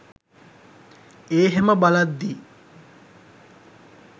ඒහෙම බලද්දි